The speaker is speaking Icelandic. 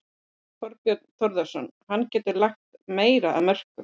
Þorbjörn Þórðarson: Hann getur lagt meira af mörkum?